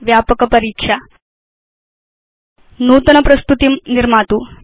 व्यापक परीक्षा नूतन प्रस्तुतिं निर्मातु